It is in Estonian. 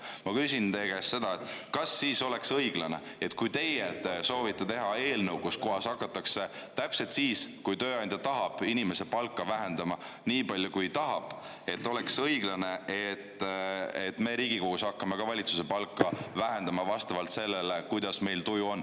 Ma küsin teie käest, kas siis oleks õiglane, et kui teie soovite teha eelnõu, millega hakatakse täpselt siis, kui tööandja tahab, inimese palka vähendama, nii palju, kui tahab, oleks õiglane, et me Riigikogus hakkame ka valitsuse palka vähendama vastavalt sellele, kuidas meil tuju on.